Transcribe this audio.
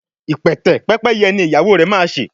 ipẹtẹ Pẹ́pẹ́yẹ ní ìyàwó rẹ má ṣe.